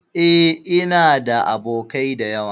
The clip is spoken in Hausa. E, ina da abokai da yawa.